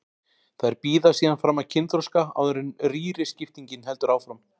Þær bíða síðan fram að kynþroska áður en rýriskiptingin heldur áfram.